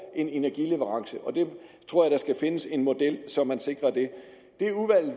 en energileverance jeg tror der skal findes en model så man sikrer det